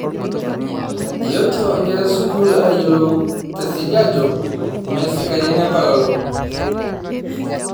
Eetuo inkera esikuul ayiolou tesiadi ajo mee sikarini apa lelo